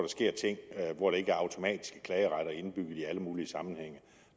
sker ting hvor der ikke automatisk er klageretter indbygget i alle mulige sammenhænge